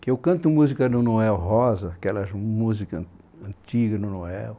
Que eu canto música do Noel Rosa, aquelas músicas antigas do Noel.